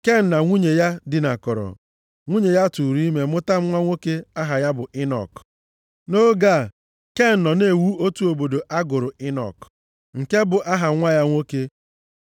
Ken na nwunye ya dinakọrọ, nwunye ya tụụrụ ime mụta nwa nwoke aha ya bụ Enọk. Nʼoge a, Ken nọ na-ewu otu obodo ọ gụrụ Enọk, nke bụ aha nwa ya nwoke.